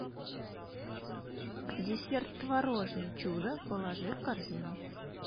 десерт творожный чудо положи в корзину